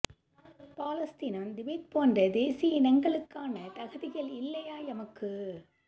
பலஸ்தீனம் Tibet போன்ற தேசிய இனங்களுக்கான தகுதிகள் இல்லையா எமக்கு